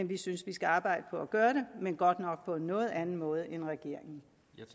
vi synes vi skal arbejde på at gøre det men godt nok på en noget anden måde end regeringen